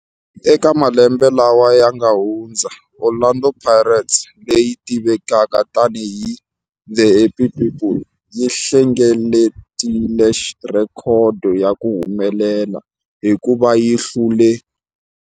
Eka malembe lawa yanga hundza, Orlando Pirates, leyi tivekaka tani hi 'The Happy People', yi hlengeletile rhekhodo ya ku humelela hikuva yi hlule.